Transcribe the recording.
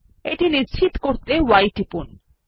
এটি নিশ্চিত করতে y টিপুন